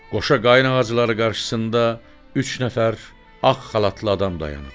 Qoşa qayna ağacları qarşısında üç nəfər ağ xalatlı adam dayanıb.